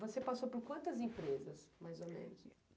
Você passou por quantas empresas, mais ou menos?